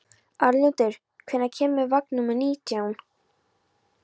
Arnljótur, hvenær kemur vagn númer nítján?